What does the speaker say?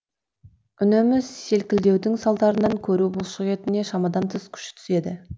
үнемі селкілдеудің салдарынан көру бұлшықетіне шамадан тыс күш түседі